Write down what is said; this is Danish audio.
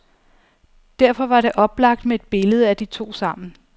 Derfor var det oplagt med et billede af de to sammen.